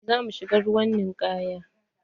Za mu shiga ruwan ninkaya.